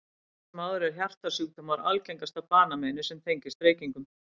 Samt sem áður eru hjartasjúkdómar algengasta banameinið sem tengist reykingum.